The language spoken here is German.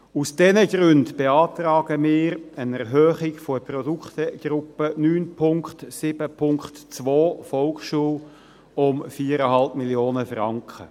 Aus diesen Gründen beantragen wir eine Erhöhung der Produktegruppe 9.7.2, Volksschule und schulergänzende Angebote, um 4,5 Mio. Franken.